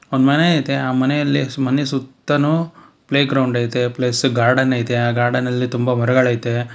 ಒಂದ್ ಮನೆ ಐತೆ ಆ ಮನೆಯಲ್ಲಿ ಮನೆ ಸುತ್ತಾನು ಪ್ಲೇ ಗ್ರೌಂಡ್ ಐತೆ ಪ್ಲಸ್ ಗಾರ್ಡನ್ ಐತೆ ಆ ಗಾರ್ಡನ್ ನಲ್ಲಿ ತುಂಬ ಮರಗಳ್ ಐತೆ .